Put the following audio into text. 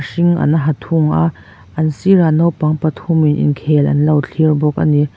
a hring an ha thung a an sirah naupang pathum in inkhel an lo thlir bawk a ni.